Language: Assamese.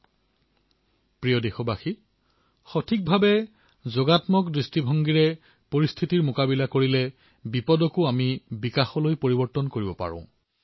মোৰ মৰমৰ দেশবাসীসকল উপযুক্ত পদক্ষেপৰ দ্বাৰা ইতিবাচক পদক্ষেপৰ দ্বাৰা সদায়েই বিপত্তিৰ সময়ত বিপত্তিক বিকাশলৈ পৰিৱৰ্তিত কৰাত সহায়ক হয়